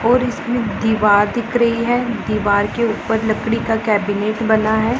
और इसमें दीवार दिख रही है दीवार के ऊपर लकड़ी का कैबिनेट बना है।